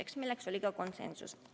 Ka see oli konsensuslik otsus.